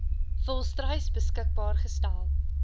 volstruis beskikbaar gestel